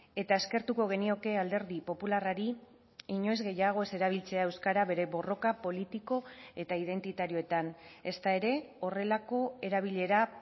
eta eskertuko genioke alderdi popularrari inoiz gehiago ez erabiltzea euskara bere borroka politiko eta identitarioetan ezta ere horrelako erabilera